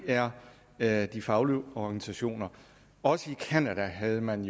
er er de faglige organisationer også i canada havde man